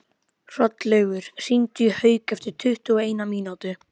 Hrollaugur, hringdu í Hauk eftir tuttugu og eina mínútur.